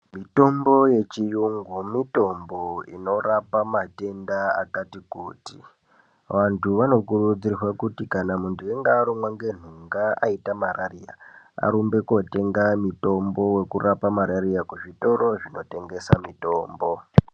Mitombo yechiyungu mitombo inorapa matenda akati kuti vantu vanokurudzirwa kuti kana muntu unonga arumwa ngentunga aita mararia arumbe kundotenga mutombo wekurape mararia kuzvitoro zvinotengesa mitombo.